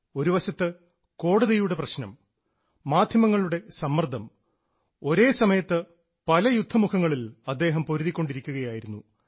ഒരുവശത്ത് കോടതിയുടെ പ്രശ്നം മാധ്യമങ്ങളുടെ സമ്മർദ്ദം ഒരേസമയത്ത് പല യുദ്ധമുഖങ്ങളിൽ അദ്ദേഹം പൊരുതിക്കൊണ്ടിരിക്കുകയായിരുന്നു